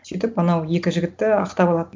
сөйтіп анау екі жігітті ақтап алады